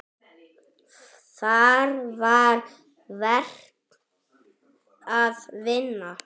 Þar var verk að vinna.